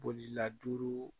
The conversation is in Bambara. Boliladuruw